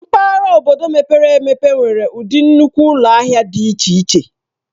Mpaghara obodo mepere emepe nwere ụdị nnukwu ụlọ ahịa dị iche iche.